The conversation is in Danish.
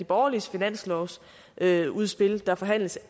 borgerliges finanslovsudspil der forhandles